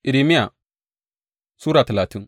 Irmiya Sura talatin